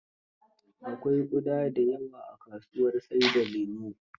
Akwai ƙuda da yawa a kasuwar sai da lemon.